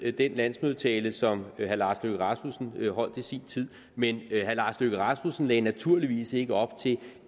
den landsmødetale som herre lars løkke rasmussen holdt i sin tid men herre lars løkke rasmussen lagde naturligvis ikke op til